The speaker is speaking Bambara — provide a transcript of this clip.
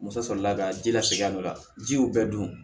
Muso sɔrɔla ka ji la segin a la ji y'u bɛɛ dun